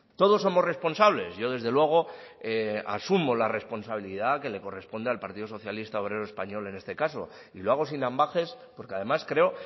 todos somos responsables yo desde luego asumo la responsabilidad que le corresponde al partido socialista obrero español en este caso y lo hago sin ambages porque además creo